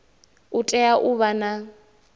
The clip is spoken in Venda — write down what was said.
u tea u vha na